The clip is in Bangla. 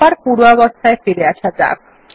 আবার পূর্বাবস্থায় ফিরে আসা যাক